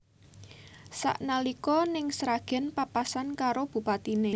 Sak nalika ning Sragen papasan karo bupatine